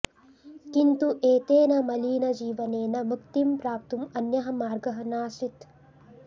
किन्तु एतेन मलिनजीवनेन मुक्तिं प्राप्तुम् अन्यः मार्गः नासीत्